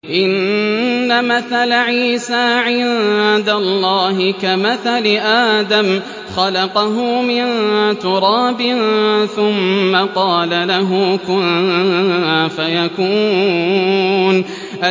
إِنَّ مَثَلَ عِيسَىٰ عِندَ اللَّهِ كَمَثَلِ آدَمَ ۖ خَلَقَهُ مِن تُرَابٍ ثُمَّ قَالَ لَهُ كُن فَيَكُونُ